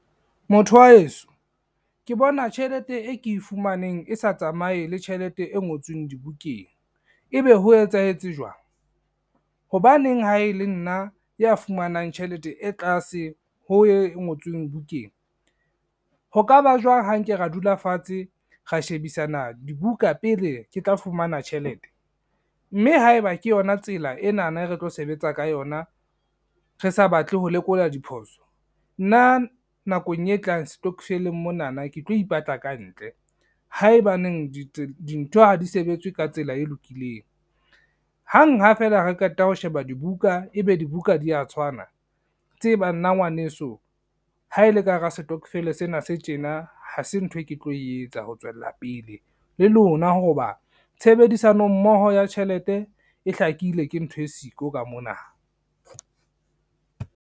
Motho wa heso ke bona tjhelete e ke e fumaneng, e sa tsamaye le tjhelete e ngotsweng dibukeng, ebe ho etsahetse jwang, hobaneng ha e le nna ya fumanang tjhelete e tlase ho ye e ngotsweng bukeng. Ho ka ba jwang ha nke ra dula fatshe, ra shebisana dibuka pele ke tla fumana tjhelete, mme haeba ke yona tsela enana e re tlo sebetsa ka yona re sa batle ho lekola diphoso nna nakong e tlang stokvel-eng monana ke tlo ipatla kantle, haebaneng dintho ha di sebetse ka tsela e lokileng. Hang ha feela re qeta ho sheba dibuka, ebe dibuka di ya tshwana tseba nna ngwaneso ha e le ka hara stockvel-e sena se tjena ha se ntho e ke tlo e etsa ho tswella pele le lona ho ba tshebedisano mmoho ya tjhelete e hlakile ke ntho e siko ka mona.